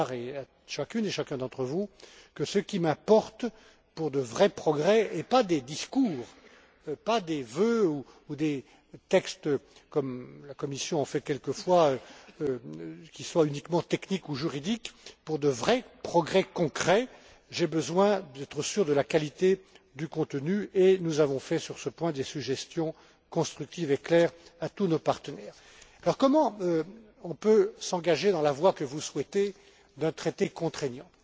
Jarc et à chacune et chacun d'entre vous que ce qui m'importe pour de vrais progrès et pas des discours, pas des vœux ou des textes, comme la Commission en fait quelquefois, qui soient uniquement techniques ou juridiques pour de vrais progrès concrets, j'ai besoin d'être sûr de la qualité du contenu, et nous avons fait, sur ce point, des suggestions constructives et claires à tous nos partenaires. Comment peut on s'engager dans la voie que vous souhaitez d'un traité contraignant?